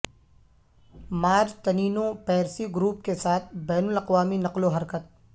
مارٹنینو پیرسی گروپ کے ساتھ بین الاقوامی نقل و حرکت